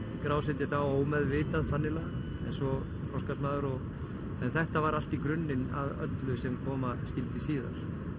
skrásetja þá ómeðvitað þannig lagað en svo þroskast maður en þetta var allt í grunninn að öllu sem koma skyldi síðar